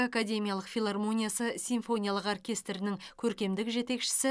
академиялық филармониясы симфониялық оркестрінің көркемдік жетекшісі